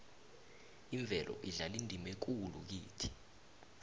imvelo idlala indima ekulu kithi